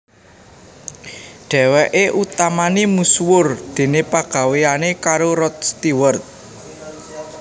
Dhèwèké utamané misuwur déné pagawéyané karo Rod Stewart